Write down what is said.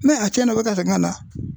Ni a tiɲɛna u bɛ ka segin ka na